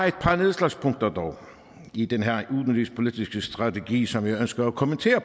et par nedslagspunkter i den her udenrigspolitiske strategi som jeg ønsker at kommentere